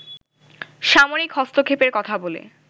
সামরিক হস্তক্ষেপের কথা বলে